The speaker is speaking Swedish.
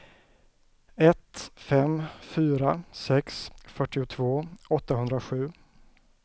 ett fem fyra sex fyrtiotvå åttahundrasju